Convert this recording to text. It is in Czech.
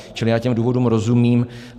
Čili já těm důvodům rozumím.